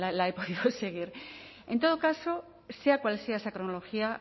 la he podido seguir en todo caso sea cual sea esa cronología